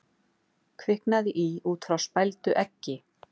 Kviknaði í út frá spældu eggi